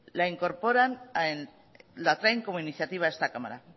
la incorporan la traen como iniciativa a esta cámara